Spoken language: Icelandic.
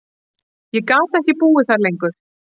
Ég gat ekki búið þar lengur.